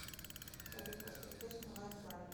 салют поставь песню лайфлайн